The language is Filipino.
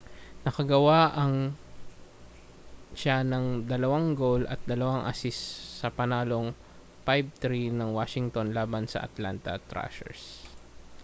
nakagawa siya ng 2 goal at 2 assist sa panalong 5-3 ng washington laban sa atlanta thrashers